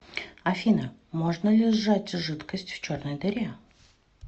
афина можно ли сжать жидкость в черной дыре